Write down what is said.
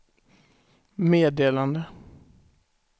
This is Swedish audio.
meddelande